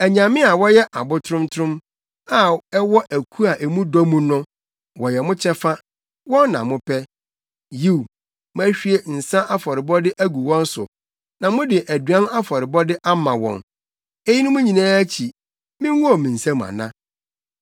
Anyame a wɔyɛ abo trontrom, a ɛwɔ aku a mu dɔ mu no, wɔyɛ mo kyɛfa. Wɔn na mopɛ. Yiw, moahwie nsa afɔrebɔde agu wɔn so na mode aduan afɔrebɔde ama wɔn. Eyinom nyinaa akyi, mingow me nsam ana?